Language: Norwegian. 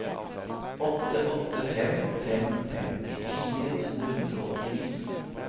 åtte åtte fem fem femtifire to hundre og åttini